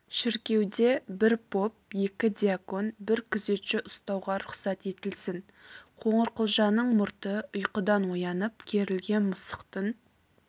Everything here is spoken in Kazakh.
шіркеуде бір поп екі дьякон бір күзетші ұстауға рұқсат етілсін қоңырқұлжаның мұрты ұйқыдан оянып керілген мысықтың